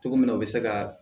Cogo min na u bɛ se ka